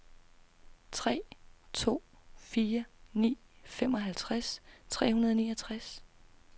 tre to fire ni femoghalvtreds tre hundrede og niogtres